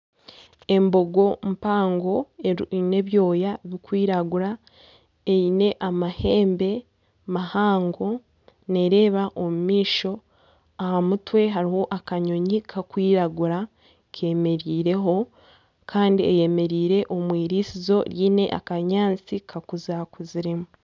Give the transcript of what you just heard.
Embogo mpango eine ebyoya birikwiragura, eine amahembe mahango neereeba omu maisho. Aha mutwe hariho akanyonyi karikwiragura kemereireho. kandi eyemereire omu eirisizo riine akanyaatsi kakurakuziremu.